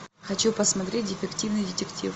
хочу посмотреть дефективный детектив